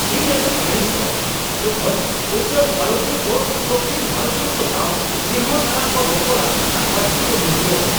ᱤᱧ ᱟᱹᱰᱤᱧ ᱟᱹᱲᱤᱥᱚᱜᱼᱟ ᱡᱚᱠᱷᱚᱱ ᱩᱛᱛᱚᱨ ᱵᱷᱟᱨᱚᱛᱤᱭᱟᱹ ᱠᱚ ᱫᱚᱠᱠᱷᱤᱱ ᱵᱷᱟᱨᱚᱛᱤᱭᱚ ᱠᱚ ᱥᱟᱶ ᱱᱮᱦᱚᱨ ᱥᱟᱞᱟᱜ ᱠᱚ ᱨᱚᱯᱚᱲᱼᱟ ᱟᱨ ᱯᱟᱹᱨᱥᱤ ᱠᱚ ᱱᱤᱥᱲᱟᱹᱣᱟ ᱾